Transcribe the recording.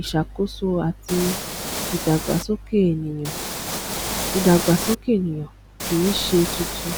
ìṣàkóso àti ìdàgbàsókè ẹnìyàn ìdàgbàsókè ẹnìyàn kìí ṣe tuntun